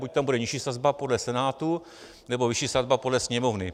Buď tam bude nižší sazba podle Senátu, nebo vyšší sazba podle Sněmovny.